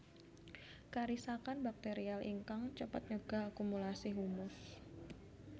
Karisakan bakterial ingkang cepet nyegah akumulasi humus